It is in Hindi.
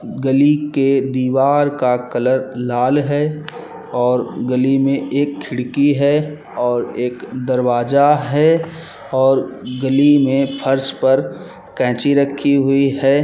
गली के दीवार का कलर लाल है और गली में एक खिड़की है और एक दरवाजा है और गली में फर्श पर कैंची रखी हुई हैं।